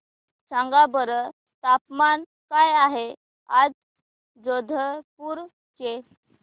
सांगा बरं तापमान काय आहे आज जोधपुर चे